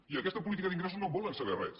i d’aquesta política d’ingressos no en volen saber res